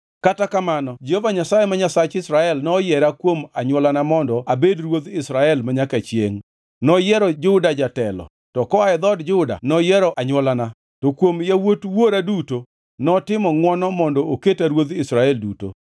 “Kata kamano Jehova Nyasaye ma Nyasach Israel noyiera kuom anywolana mondo abed ruodh Israel manyaka chiengʼ. Noyiero Juda jatelo, to koa e dhood Juda noyiero anywolana, to kuom yawuot wuora duto, notimo ngʼwono mondo oketa ruodh Israel duto.